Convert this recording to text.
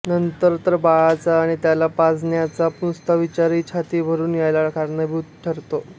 नंतर तर बाळाचा आणि त्याला पाजण्याचा नुसता विचारही छाती भरून यायला कारणीभूत ठरतो